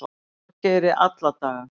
Þorgeiri alla daga.